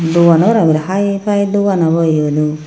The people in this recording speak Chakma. dogan abo parapadey hai pai dogan obo eyodow.